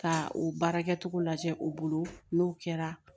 Ka o baarakɛcogo lajɛ o bolo n'o kɛra